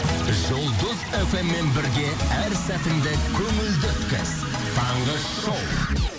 жұлдыз фм мен бірге әр сәтіңді көңілді өткіз таңғы шоу